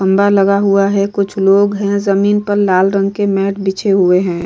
खम्बा लगा हुआ है कुछ लोग हैं जमीन पर लाल रंग के मैट बिछे हुए हैं।